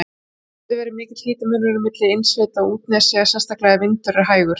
Þá getur verið mikill hitamunur milli innsveita og útnesja, sérstaklega ef vindur er hægur.